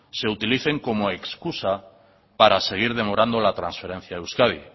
se utilicen como excusa para seguir demorando la transferencia a euskadi